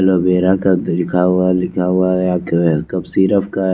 aloe vera लिखा हुआ लिखा हुआ है कफ सिरप का--